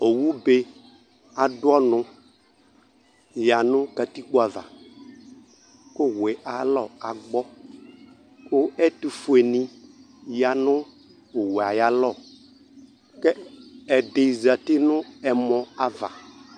Owube adʊ ɔnʊ yanʊ katikpo ava kʊ owue ayu alagbɔ kʊ ɛtufuenɩ yanʊ owoe ayʊ alɔ kʊ ɛdɩ zatɩ nʊ ɛmɔava